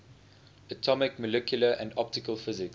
atomic molecular and optical physics